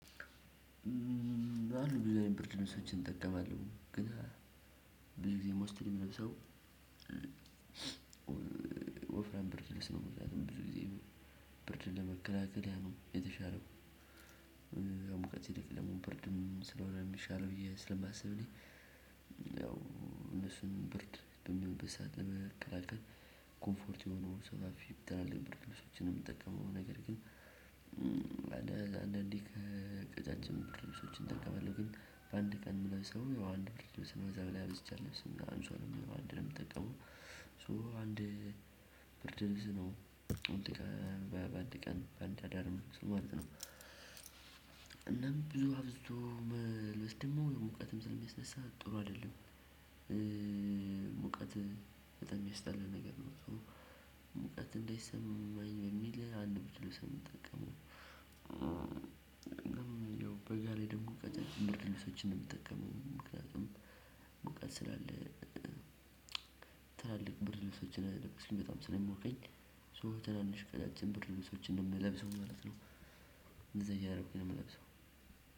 አሉ ብዙ አይነት ብርድልብሶችን እጠቀማለሁ ግን ብዙ ጊዜ ሞስትሊ ምለብሰው ወፍራም ብርድልብስ ነው ምጠቀመው ብዙ ጊዜ ብርድን ለመከላከል ያ ነው የተሻለው። ያው ሙቀት ሲብስ ብርድም ስለሆነ ሚሻለው ብዬ ስለማስብ እኔ ያው እነሱን ብርድ በሚሆንበት ሰዓት ለመከላከል ኮምፎርት የሆነውን ሰፍፊ ትላልቅ ብርድልብሶችን ነው የምጠቀመው። ነገር ግን አንዳንዴ ከቀጫጭን ብርድልብሶችን እጠቀማለሁ ግን በአንድ ቀን ምለብሰው ሰው አንድ ብርድልብስ ከዛ በላይ አብዝቼ አለብስም አንሶላም አንድ ነው የምጠቀመው። ሶ አንድ ብርድልብስ ነው በአንድ ቀን በአንድ አዳር ምለብሰው ማለት ነው። ብዙ አብዝቶ መልበስ ደሞ ሙቀትም ስለ ሚያስነሳ ጥሩ አይደለም። ሙቀት በጣም የሚያስጠላ ነገር ነው ሙቀት እንደይሰማኝ በሚል አንድ ብድርልብስ ነው የምጠቀመው። ያው በጋ ላይ ደግሞ ቀጫጭን ብርድልብሶችን ነው የምጠቀመው ምክንያቱም ሙቀት ስላለ። ትላልቅ ብርድልብሶችን እሱም በጣም ስለሚሞቀኝ ሶ ትናንሽ ቀጫጭን ብርድልብሶችን ምለብሰው ማለት ነው እንደዛ እያደረኩ ነው የምለብሰው።